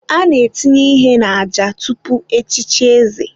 A na-etinye ihe n'àjà tupu echichi eze.